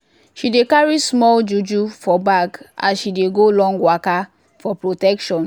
she dey carry small juju for bag as she dey go long waka for protection